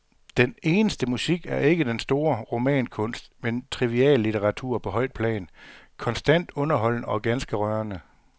Den eneste musik er ikke den store romankunst, men triviallitteratur på højt plan, konstant underholdende og ganske rørende.